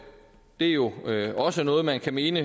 er jo også noget man kan mene